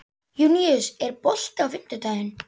Júníus, er bolti á fimmtudaginn?